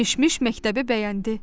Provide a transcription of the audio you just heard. Mişmiş məktəbi bəyəndi.